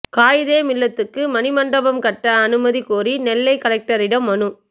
காயிதே மில்லத்துக்கு மணிமண்டபம் கட்ட அனுமதி கோரி நெல்லை கலெக்டரிடம் மனு